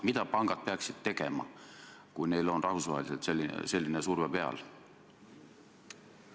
Mida pangad peaksid tegema, kui neil on rahvusvaheliselt selline surve peal?